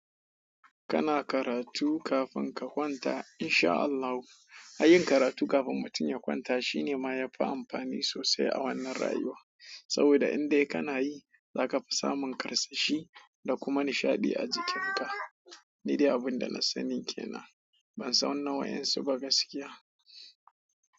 Kana karatu kafin ka kwanta insha Allahu. Ayin karatu kafin mutum ya kwanta shine ma yafi amfani sosai a wannan rayuwa. Saboda indai kana yi zaka fi samun karsashi da kuma nishaɗi a jikinka. Nidai abin da na sani kenan. Bansan na wadansu ba gaskiya.